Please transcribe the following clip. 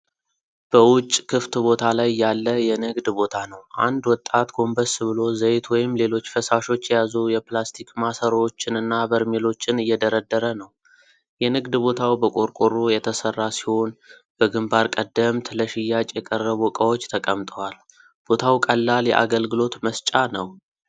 በውጭ ክፍት ቦታ ላይ ያለ የንግድ ቦታ ነው። አንድ ወጣት ጎንበስ ብሎ ዘይት ወይም ሌሎች ፈሳሾች የያዙ የፕላስቲክ ማሰሮዎችንና በርሜሎችን እየደረደረ ነው። የንግድ ቦታው በቆርቆሮ የተሰራ ሲሆን፣ በግንባር ቀደምት ለሽያጭ የቀረቡ ዕቃዎች ተቀምጠዋል። ቦታው ቀላል የአገልግሎት መስጫ ነው።